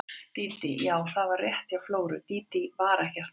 Dídí, já, það var rétt hjá Flóru, Dídí var ekkert nafn.